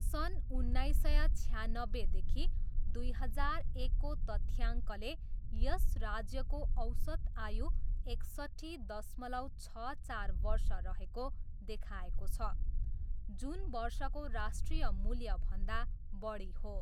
सन् उन्नाइस सय छयान्नब्बेदेखि दुई हजार एकको तथ्याङ्कले यस राज्यको औसत आयु एकसट्ठी दश्मलव छ चार वर्ष रहेको देखाएको छ, जुन वर्षको राष्ट्रिय मूल्यभन्दा बढी हो।